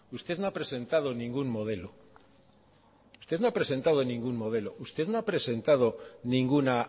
usted no ha presentado ningún modelo usted no ha presentado ningún modelo usted no ha presentado ninguna